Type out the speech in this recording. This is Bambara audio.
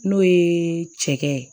N'o ye cɛkɛ ye